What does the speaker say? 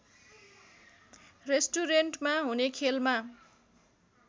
रेस्टुरेन्टमा हुने खेलमा